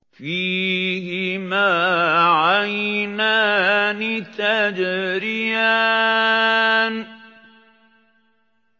فِيهِمَا عَيْنَانِ تَجْرِيَانِ